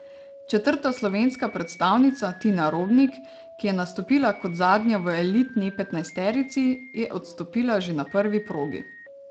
Četrta slovenska predstavnica, Tina Robnik, ki je nastopila kot zadnja v elitni petnajsterici, je odstopila že na prvi progi.